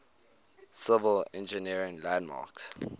civil engineering landmarks